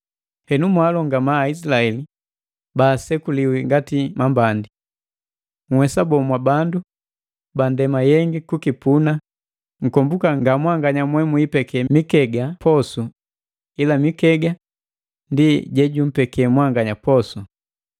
Henu mwaalongama Aizilaeli baasekuliwi ngati mambandi! Nhwesa boo, mwa bandu ba ndema yengi kukipuna, nkombuka nga mwanganya mwe muipeke mikega posu ila mikega ndi jejumpeke mwanganya posu.